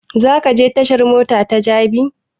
Za ka je tashan mota ta jabi?